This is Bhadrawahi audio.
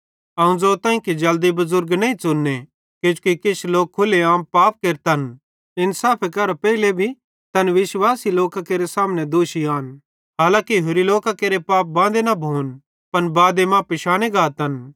अवं ज़ोताईं कि जल्दी बुज़ुर्ग नईं च़ुन्ने किजोकि किछ लोक खुले आम पाप केरतन इन्साफे करां पेइले भी तैना विश्वासी लोकां केरे सामने दोषी आन हांलाकि होरि लोकां केरे पाप बांदे न भोन पन बादे मां पिशाने गातन